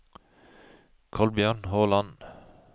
Kolbjørn Håland